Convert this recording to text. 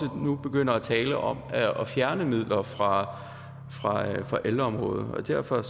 nu begynder at tale om at fjerne midler fra ældreområdet derfor